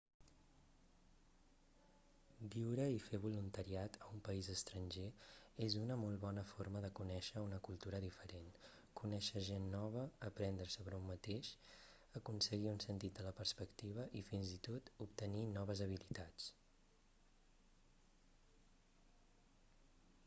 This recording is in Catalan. viure i fer voluntariat a un país estranger és una molt bona forma de conèixer una cultura diferent conèixer gent nova aprendre sobre un mateix aconseguir un sentit de la perspectiva i fins i tot obtenir noves habilitats